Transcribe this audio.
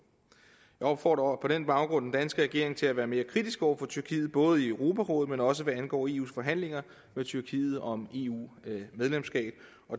jeg opfordrer på den baggrund den danske regering til at være mere kritisk over for tyrkiet både i europarådet men også hvad angår eus forhandlinger med tyrkiet om eu medlemskab